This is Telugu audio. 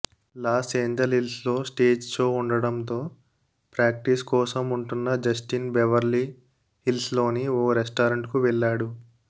లాస్ ఎంజెలిల్స్లో స్టేజ్ షో ఉండడంతో ప్రాక్టీస్ కోసం ఉంటున్న జస్టిన్ బెవెర్లీ హిల్స్లోని ఓ రెస్టారెంట్కు వెళ్లాడు